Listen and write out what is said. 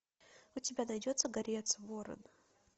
у тебя найдется горец ворон